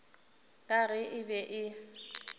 ka ge e be e